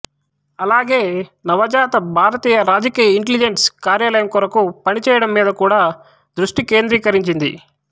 అలాగే నవజాత భారతీయ రాజకీయ ఇంటలిజెన్స్ కార్యాలయం కొరకు పని చేయడం మీద కూడా దృష్టి కేంద్రీకరించింది